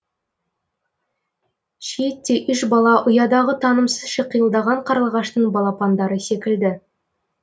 шиеттей үш бала ұядағы танымсыз шиқылдаған қарлығаштың балапандары секілді